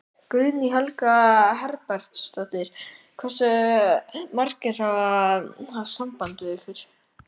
Guðný Helga Herbertsdóttir: Hversu margir hafa haft samband við ykkur?